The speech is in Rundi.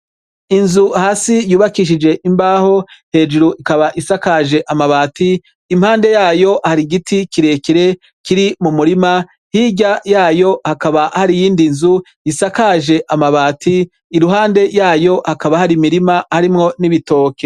Inzu hasi yubakishije imbaho hejuru ikaba isakaje amabati impande yayo hari igiti kirekere kiri mu murima hirya yayo hakaba hari iyindi nzu isakaje amabati iruhande yayo hakaba hari mirima harimwo n'ibitoke.